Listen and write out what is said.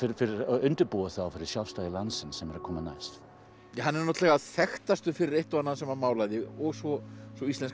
undirbúa það fyrir sjálfstæði landsins sem er að koma næst hann er náttúrulega þekktastur fyrir eitt og annað sem hann málaði og svo svo íslenska